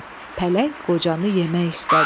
Pələng qocanı yemək istədi.